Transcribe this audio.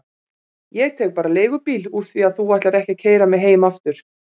Ég tek bara leigubíl úr því að þú ætlar ekki að keyra mig heim aftur.